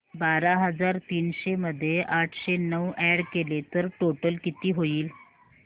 बारा हजार तीनशे मध्ये आठशे नऊ अॅड केले तर टोटल किती होईल